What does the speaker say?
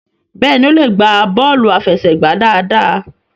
béèni o le gba bọọlu afẹsẹgba dáadáa.